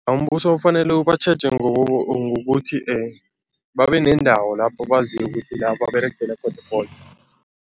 Umbuso kufanele ubatjheje ngokuthi babe nendawo lapho baziko ukuthi lapho baberegele khona